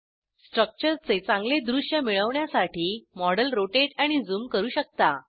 स्ट्रक्चरचे चांगले दृश्य मिळवण्यासाठी मॉडेल रोटेट आणि झूम करू शकता